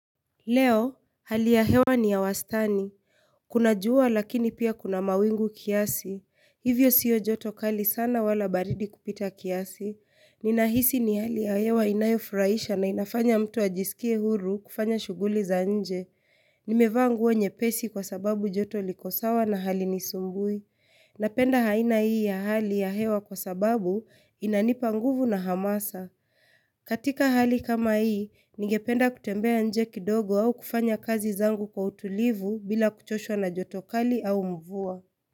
Leo, hali ya hewa ni ya wastani. Kuna jua lakini pia kuna mawingu kiasi. Hivyo sio joto kali sana wala baridi kupita kiasi. Ninahisi ni hali ya hewa inayofurahisha na inafanya mtu ajisikie huru kufanya shughuli za nje. Nimevaa nguo nyepesi kwa sababu joto liko sawa na halinisumbui. Napenda aina hii ya hali ya hewa kwa sababu inanipa nguvu na hamasa. Katika hali kama hii, nigependa kutembea nje kidogo au kufanya kazi zangu kwa utulivu bila kuchoshwa na joto kali au mvua.